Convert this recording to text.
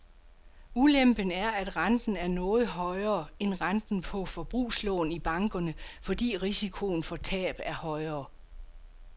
Ulempen er, at renten er noget højere end renten på forbrugslån i bankerne, fordi risikoen for tab er højere.